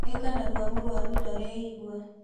Eka narua mũrwaru ndareyigua.